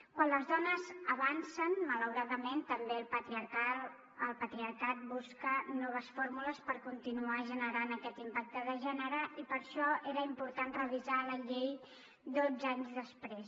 quan les dones avancen malauradament també el patriarcat busca noves fórmules per continuar generant aquest impacte de gènere i per això era important revisar la llei dotze anys després